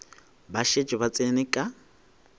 ba šetše ba tsene ka